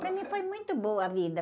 Para mim foi muito boa a vida.